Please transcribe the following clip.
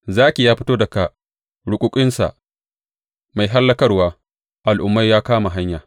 Zaki ya fito daga ruƙuƙinsa; mai hallakarwar al’ummai ya kama hanya.